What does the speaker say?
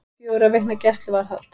Fjögurra vikna gæsluvarðhald